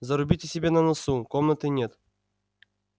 зарубите себе на носу комнаты нет